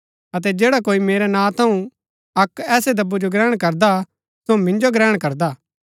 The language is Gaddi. अतै जैडा कोई मेरै नां थऊँ अक्क ऐसै दब्बु जो ग्रहण करदा सो मिन्जो ग्रहण करदा